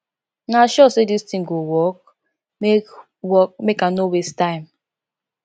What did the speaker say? una sure say dis thing go work make work make i no waste time